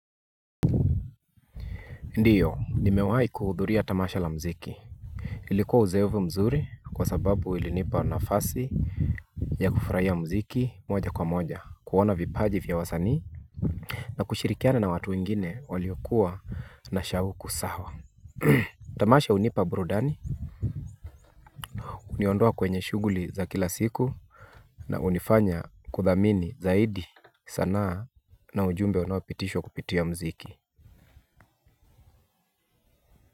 Ndiyo nimewai kuhudhuria tamasha la mziki. Ilikuwa uzayovu mzuri kwa sababu ilinipa nafasi ya kufurahia mziki moja kwa moja kuwana vipaji vya wasanii na kushirikiana na watu wengine waliokuwa na shahuku sawa tamasha hunipa burudani huniondoa kwenye shuguli za kila siku na unifanya kudhamini zaidi sanaa na ujumbe unapitishwa kupitia mziki. Kwa hivyo.